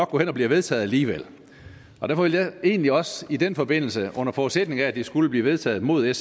går hen og bliver vedtaget alligevel og derfor vil jeg egentlig også i den forbindelse under forudsætning af at det skulle blive vedtaget uden